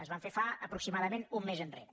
es van fer fa aproximadament un mes enrere